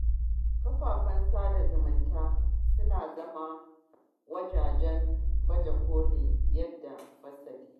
Kafafen sada zumunta suna zama wuraren baje kolin yaɗa fasadi.